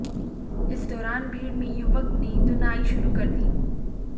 इस दौरान भीड़ ने युवक की धुनाई शुरू कर दी